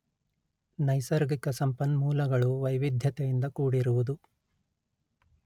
ನೈಸರ್ಗಿಕ ಸಂಪನ್ಮೂಲಗಳು ವೈವಿಧ್ಯತೆಯಿಂದ ಕೂಡಿರುವುದು